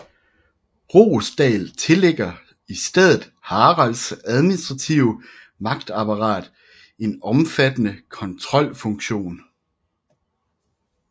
Roesdahl tillægger i stedet Haralds administrative magtapparat en omfattende kontrolfunktion